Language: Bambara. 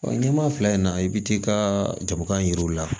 ɲɛmaa fila in na i bɛ t'i ka jabakan jiriw la